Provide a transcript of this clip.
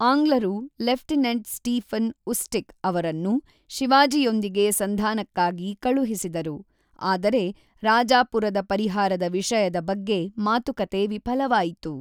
ಆಂಗ್ಲರು lieutenant Stephen Ustick ಅವರನ್ನು ಶಿವಾಜಿಯೊಂದಿಗೆ ಸಂಧಾನಕ್ಕಾಗಿ ಕಳುಹಿಸಿದರು, ಆದರೆ ರಾಜಾಪುರದ ಪರಿಹಾರದ ವಿಷಯದ ಬಗ್ಗೆ ಮಾತುಕತೆ ವಿಫಲವಾಯಿತು.